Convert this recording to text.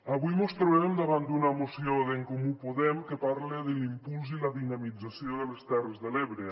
avui mos trobem davant d’una moció d’en comú podem que parla de l’impuls i la dinamització de les terres de l’ebre